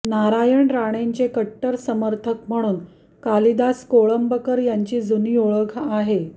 नारायण राणेंचे कट्टर समर्थक म्हणून कालिदास कोळंबकर यांची जुनी ओळख आहे